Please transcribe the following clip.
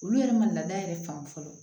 Olu yɛrɛ ma laada yɛrɛ fan fɔlɔ